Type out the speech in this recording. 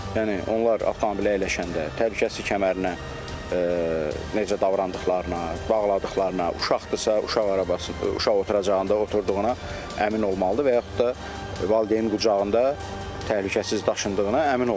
Yəni onlar avtomobilə əyləşəndə təhlükəsizlik kəmərinə necə davrandıqlarına, bağladıqlarına, uşaqdırsa, uşaq arabası, uşaq oturacağında oturduğuna əmin olmalıdır və yaxud da valideyn qucağında təhlükəsiz daşındığına əmin olmalıdır.